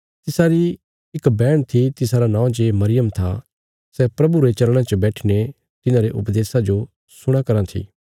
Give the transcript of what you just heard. तिसारी इक बैहण थी तिसारा नौं जे मरियम था सै प्रभुरे चरणां च बैठीने तिन्हारे उपदेशा जो सुणयां कराँ थी